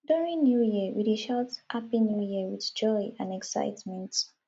during new year we dey shout happy new year with joy and excitement